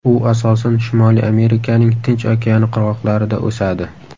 U asosan Shimoliy Amerikaning Tinch okeani qirg‘oqlarida o‘sadi.